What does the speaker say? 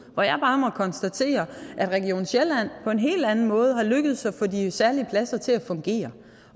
hvor jeg bare må konstatere at region sjælland på en helt anden måde er lykkedes med at få de særlige pladser til at fungere